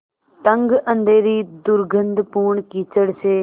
तंग अँधेरी दुर्गन्धपूर्ण कीचड़ से